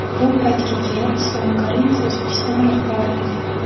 Bu paytga kelib Islom Karimov O‘zbekiston rahbari edi.